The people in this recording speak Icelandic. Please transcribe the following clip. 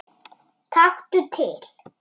Taktu til.